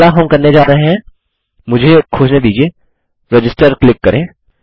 अगला हम करने जा रहे हैं मुझे खोजने दीजिये रजिस्टर क्लिक करें